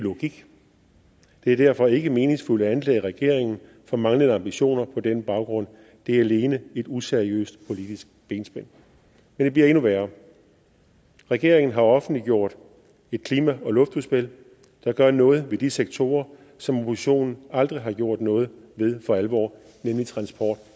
logik det er derfor ikke meningsfuldt at anklage regeringen for manglende ambitioner på den baggrund det er alene et useriøst politisk benspænd men det bliver endnu værre regeringen har offentliggjort et klima og luftudspil der gør noget ved de sektorer som oppositionen aldrig har gjort noget ved for alvor nemlig transport